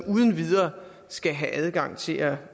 uden videre skal have adgang til at